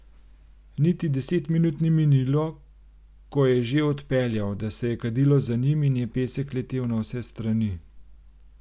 Niti deset minut ni minilo, ko je že odpeljal, da se je kadilo za njim in je pesek letel na vse strani.